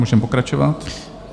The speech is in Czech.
Můžeme pokračovat.